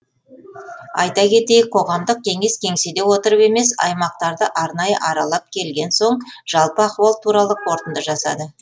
айта кетейік қоғамдық кеңес кеңседе отырып емес аймақтарды арнайы аралап келген соң жалпы ахуал туралы қорытынды жасады